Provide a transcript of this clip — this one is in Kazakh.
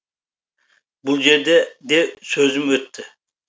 бұл жерде де сөзім өтті